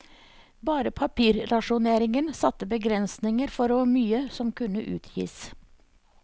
Bare papirrasjoneringen satte begrensninger for hvor mye som kunne utgis.